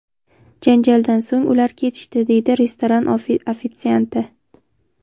Janjaldan so‘ng, ular ketishdi”, deydi restoran ofitsianti.